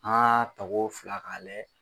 An ka tako fila k'a lajɛ